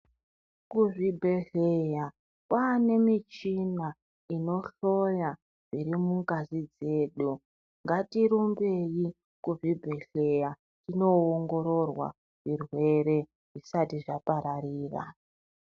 Kuzvibhehleya kwaane michina inohloya zviri mungazi dzedu ngatirumbeyi kuzvibhehleya tinoongororwa zvirwere zvisati zvapararira.